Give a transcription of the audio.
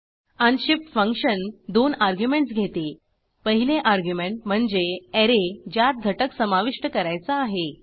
unshift function arguments घेते पहिले argument म्हणजे ऍरे ज्यात घटक समाविष्ट करायचा आहे